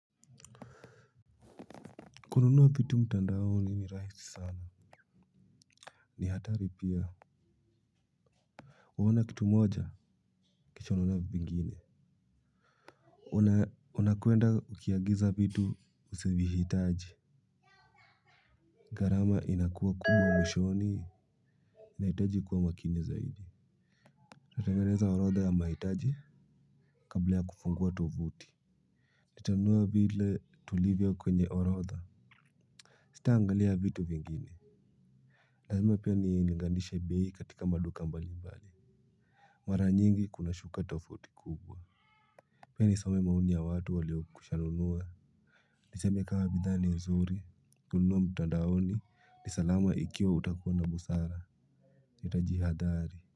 Kununua vitu mtandaoni ni rahisi sana. Ni hatari pia. Uona kitu moja kisha unaona vingine. Una unakuenda ukiagiza vitu usivyoihitaji. Gharama inakuwa kubwa mwishoni unaitaji kuwa makini zaidi. Natanganeza orotha ya mahitaji kabla ya kufungua tovuti. Natanua vile tulivyo kwenye orotha. Sita angalia vitu vingine. Lazima pia ni nilinganishe biei katika maduka mbali mbali. Mara nyingi kuna shuka tofauti kubwa. Pia nisome maoni ya watu walio kushanunua. Niseme kama bidhaa ni nzuri, kununua mtadaoni, nisalama ikiwa utakuwa na busara, nitajihadari.